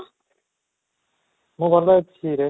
ମୁଁ ଭଲ ଅଛି ରେ